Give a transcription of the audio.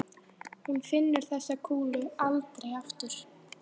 Hún finnur þessa kúlu aldrei aftur.